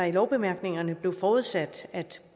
i lovbemærkningerne blev forudsat at